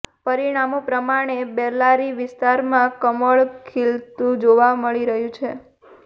પરિણામો પ્રમાણે બેલ્લારી વિસ્તારમાં કમળ ખીલતુંજોવા મળી રહ્યું છે